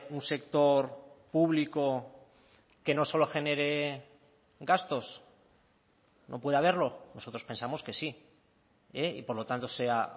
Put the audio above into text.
un sector público que no solo genere gastos no puede haberlo nosotros pensamos que sí y por lo tanto sea